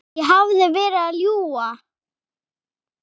Ég hefði verið að ljúga.